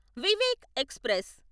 Vivek express